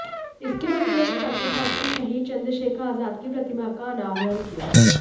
इसके बाद उन्होंने सर्किट हाउस में शहीद चंद्रशेखर आजाद की प्रतिमा का अनावरण किया